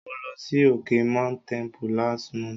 Mo lọ sí òkè Mount Tempo last month.